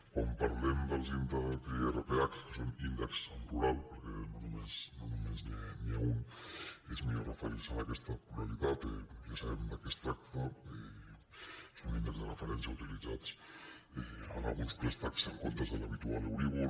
quan parlem dels irph que són índexs en plural per·què no només n’hi ha un és millor referir·se a aques·ta pluralitat ja sabem de què es tracta són índexs de referència utilitzats en alguns préstecs en comptes de l’habitual euríbor